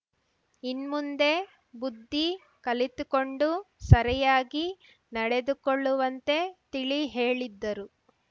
ಇನ್ಮುಂದೆ ಬುದ್ಧಿ ಕಲಿತುಕೊಂಡು ಸರಿಯಾಗಿ ನಡೆದುಕೊಳ್ಳುವಂತೆ ತಿಳಿ ಹೇಳಿದ್ದರು